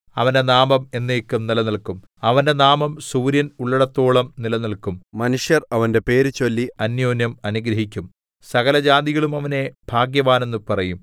അവന്റെ നാമം എന്നേക്കും നിലനില്ക്കും അവന്റെ നാമം സൂര്യൻ ഉള്ളിടത്തോളം നിലനില്ക്കും മനുഷ്യർ അവന്റെ പേര് ചൊല്ലി അന്യോന്യം അനുഗ്രഹിക്കും സകലജാതികളും അവനെ ഭാഗ്യവാൻ എന്നു പറയും